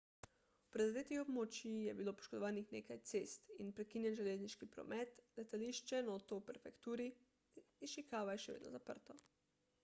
v prizadetih območjih je bilo poškodovanih nekaj cest in prekinjen železniški promet letališče noto v prefekturi išikava je še vedno zaprto